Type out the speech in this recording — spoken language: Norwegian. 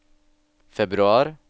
februar